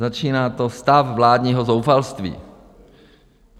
Začíná to Stav vládního zoufalství.